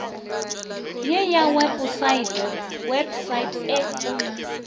ye ya weposaete website e